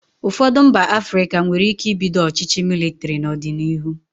Ụfọdụ mba Afrịka nwere ike ibido ọchịchị mịlịtịrị n'ọdịnihu.